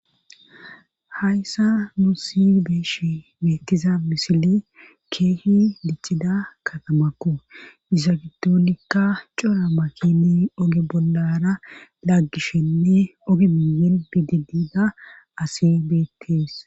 Hayssa nu si beeshi beettiza misile keehi diccida katamakko disagidonikka cora makini oge bollara laggishshenne oge miyen bididida asi beettees.